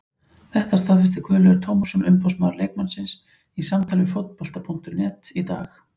Þetta staðfesti Guðlaugur Tómasson umboðsmaður leikmannsins í samtali við Fótbolta.net í dag.